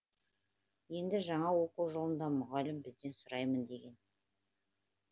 енді жаңа оқу жылында мұғалім бізден сұраймын деген